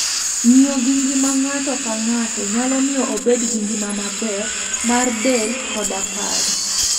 Ng'iyo gi ngima ng'ato ka ng'ato, nyalo miyo obed gi ngima maber mar del koda paro.